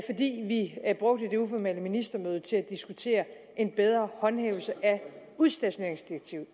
vi brugte det uformelle ministermøde til at diskutere en bedre håndhævelse af udstationeringsdirektivet